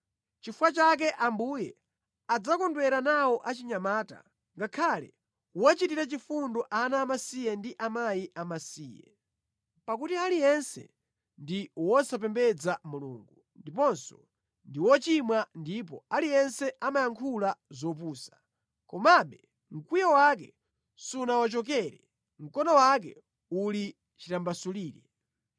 Nʼchifukwa chake Ambuye adzakondwera nawo achinyamata, ngakhale kuwachitira chifundo ana amasiye ndi akazi amasiye, pakuti aliyense ndi wosapembedza Mulungu ndiponso ndi wochimwa ndipo aliyense amayankhula zopusa. Komabe, mkwiyo wake sunawachokere, mkono wake uli chitambasulire.